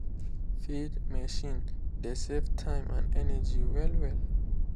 feed machine dey save time and energy well well.